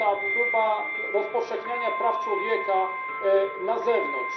próbę rozpowszechniania praw człowieka na zewnątrz.